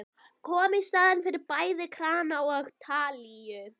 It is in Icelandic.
Kom í staðinn fyrir bæði krana og talíu.